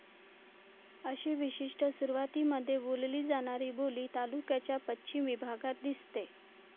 अशी विशिष्ट सुरवातीमध्ये बोलली जाणारी बोली तालुक्याच्या पश्चिम विभागात दिसते.